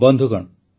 ବନ୍ଧୁଗଣ